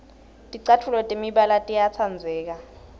ticatfuco temibala tiyatsandzeka